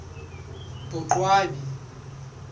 boqwabi